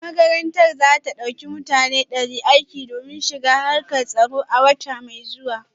Makarantar za ta dauki mutane dari aiki domin shiga harkar tsaro a wata mai zuwa